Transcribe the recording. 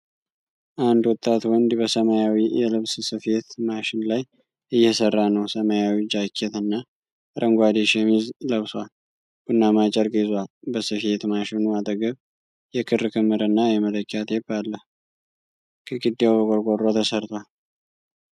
አንድ ወጣት ወንድ በሰማያዊ የልብስ ስፌት ማሽን ላይ እየሰራ ነው። ሰማያዊ ጃኬት እና አረንጓዴ ሸሚዝ ለብሷል፤ ቡናማ ጨርቅ ይዟል። በስፌት ማሽኑ አጠገብ የክር ክምር እና የመለኪያ ቴፕ አለ። ግድግዳው በቆርቆሮ ተሠርቷል።